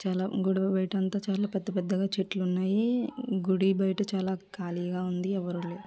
చాలా గుడి బయట అంత పెద్ద పెద్ద చెట్లున్నాయి గుడి బయట చాలా కాలిగా ఉంది ఎవరు లేరు.